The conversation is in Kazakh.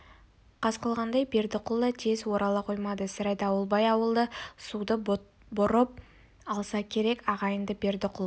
қас қылғандай бердіқұл да тез орала қоймады сірә дауылбай ауылы суды бұрып алса керек ағайынды бердіқұл